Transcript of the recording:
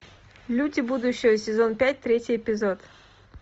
люди будущего сезон пять третий эпизод